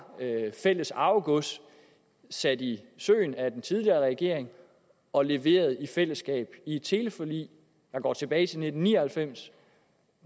fælles arvegods sat i søen af den tidligere regering og leveret i fællesskab i et teleforlig der går tilbage til nitten ni og halvfems